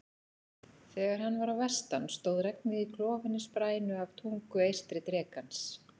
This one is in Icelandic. Þegar hann var á vestan stóð regnið í klofinni sprænu af tungu eystri drekans.